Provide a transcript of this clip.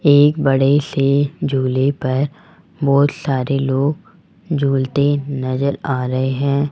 एक बड़े से झूले पर बहोत सारे लोग झूलते नजर आ रहे हैं।